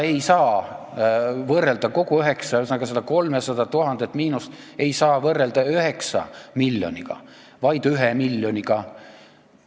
Seda 300 000 euro suurust miinust ei saa võrrelda 9 miljoniga, vaid tuleb võrrelda 1 miljoniga.